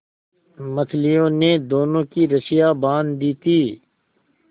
मछलियों ने दोनों की रस्सियाँ बाँध दी थीं